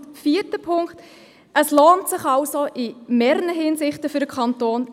Zum vierten Punkt: Es lohnt sich also in mehrerer Hinsicht für den Kanton.